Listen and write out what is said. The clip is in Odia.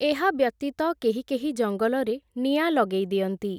ଏହାବ୍ୟତୀତ, କେହି କେହି ଜଙ୍ଗଲରେ ନିଆଁ ଲଗେଇ ଦିଅନ୍ତି ।